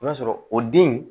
I b'a sɔrɔ o den